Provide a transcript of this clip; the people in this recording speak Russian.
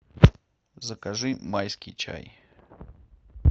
закажи майский чай